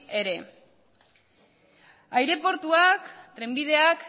ere aireportuak trenbideak